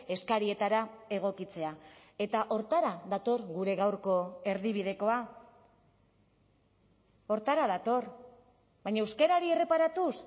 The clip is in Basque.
eskarietara egokitzea eta horretara dator gure gaurko erdibidekoa horretara dator baina euskarari erreparatuz